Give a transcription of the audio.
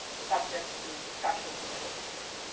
subject to discussions or negotiations.